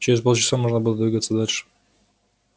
через полчаса можно было двигаться дальше